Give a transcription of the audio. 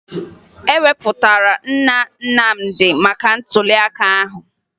E wepụtara Nna Nnamdị maka ntụliaka ahụ